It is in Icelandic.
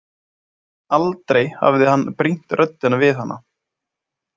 Aldrei hafði hann brýnt röddina við hana.